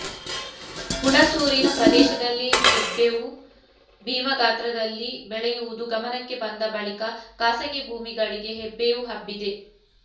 ಹುಣಸೂರಿನ ಪ್ರದೇಶದಲ್ಲಿ ಹೆಬ್ಬೇವು ಭೀಮ ಗಾತ್ರದಲ್ಲಿ ಬೆಳೆಯುವದು ಗಮನಕ್ಕೆ ಬಂದ ಬಳಿಕ ಖಾಸಗಿ ಭೂಮಿಗಳಿಗೆ ಹೆಬ್ಬೇವು ಹಬ್ಬಿದೆ